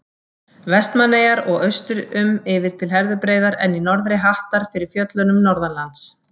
Vestmannaeyjar og austur um yfir til Herðubreiðar en í norðri hattar fyrir fjöllunum Norðanlands.